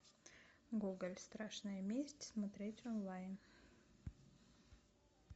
гоголь страшная месть смотреть онлайн